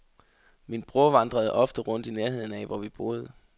Min bror vandrede ofte rundt i nærheden af, hvor vi boede.